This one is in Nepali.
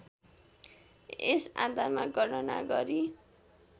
यस आधारमा गणना गरी